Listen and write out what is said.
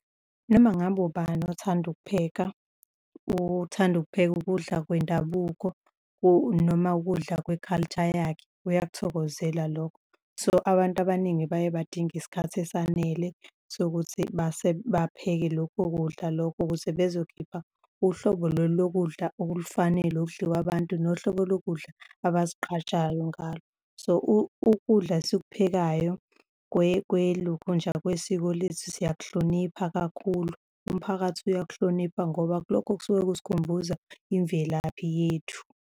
Noma ngabe ubani othanda ukupheka, uthanda ukupheka ukudla kwendabuko noma ukudla kwe-culture yakhe, uyakuthokozela lokho. So abantu abaningi baye badinge isikhathi esanele sokuthi bapheke lokho kudla lokho ukuze bezokhipha uhlobo lolu lokudla olufanelwe ukudliwa abantu nohlobo lokudla abazigqajayo ngalo, so, ukudla esikuphekayo kwelokhunja kwesiko lethu siyakuhlonipha kakhulu, umphakathi uyakuhlonipha ngoba lokho kusuke kusikhumbuza imvelaphi yethu.